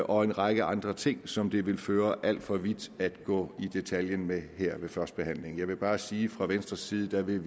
og en række andre ting som det vil føre alt for vidt at gå i detaljer med her ved førstebehandlingen jeg vil bare sige fra venstres side vil